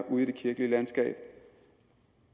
ude i det kirkelige landskab